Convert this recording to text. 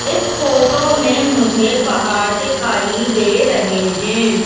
इस फोटो में मुझे पहाड़ दिखाई दे रहे हैं।